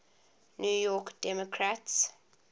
new york democrats